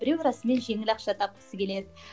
біреу расымен жеңіл ақша тапқысы келеді